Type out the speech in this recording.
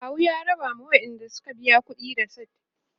akawu ya raba ma waƴanda Suka biya ƙuɗi resit